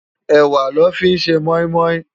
Èwá lò fi n sé mòimòi